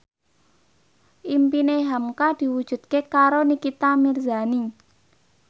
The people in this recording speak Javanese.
impine hamka diwujudke karo Nikita Mirzani